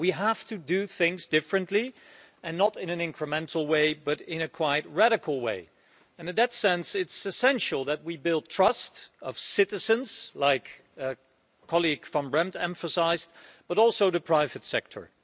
We have to do things differently, not in an incremental way, but in a quite radical way. In that sense, it's essential that we build the trust of citizens, as my colleague, Ms Van Brempt emphasised, but also the private sector.